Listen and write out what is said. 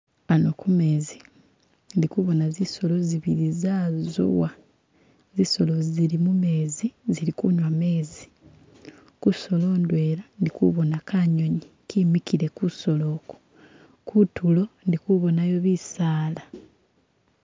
Ano kumezi ndi kubona zisolo zibili zazowa zisolo zi zili mumezi zili kunywa mezi kusolo ndwela ndikubona kanyonyi kemikile kusolo oku , kutulo ndi kubonayo bisala